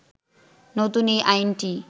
নতুন এই আইনটি